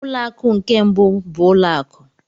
Ụlọ akụ nke mbụ bụ ụlọ akụ.